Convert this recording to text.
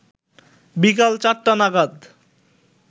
বিকাল ৪টা নাগাদ